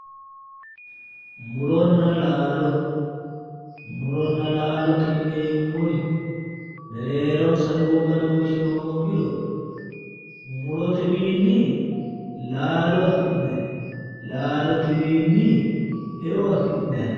Muronna laalo, muronna laalote yineemmori mereeronsano lowo badooshshi hoogirono mutotewiinni laalo afi'nay, laalotewiinni eo afi'nay.